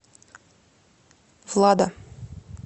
влада